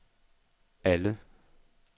alle